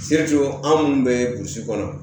anw minnu bɛ burusi kɔnɔ